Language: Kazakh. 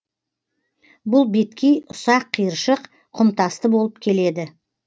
бұл беткей ұсак қиыршық құмтасты болып келеді